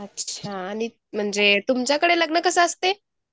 अच्छा आणि म्हणजे तुमच्याकडे लग्न कसे असते?